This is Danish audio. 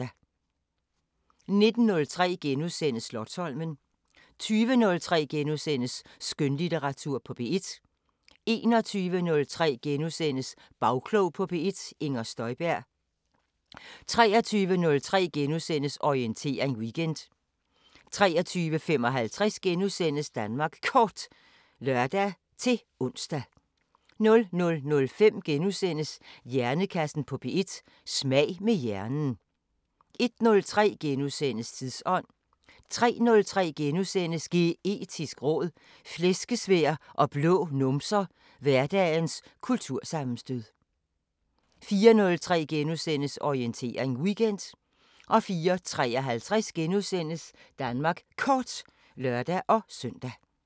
19:03: Slotsholmen * 20:03: Skønlitteratur på P1 * 21:03: Bagklog på P1: Inger Støjberg * 23:03: Orientering Weekend * 23:55: Danmark Kort *(lør-ons) 00:05: Hjernekassen på P1: Smag med hjernen * 01:03: Tidsånd * 03:03: Geetisk råd: Flæskesvær og blå numser – hverdagens kultursammenstød * 04:03: Orientering Weekend * 04:53: Danmark Kort *(lør-søn)